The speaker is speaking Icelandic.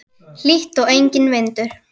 Hlýtt og enginn vindur.